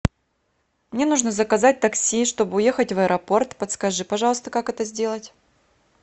мне нужно заказать такси чтобы уехать в аэропорт подскажи пожалуйста как это сделать